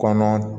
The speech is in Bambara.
Kɔnɔ